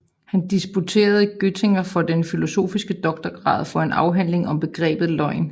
Han disputerede i Göttingen for den filosofiske doktorgrad for en afhandling om begrebet løgn